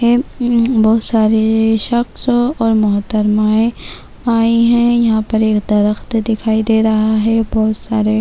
بہت سارے شخص اور محترمہ ائی ہیں یہاں پر ایک درخت دکھائی دے رہا ہے بہت سارے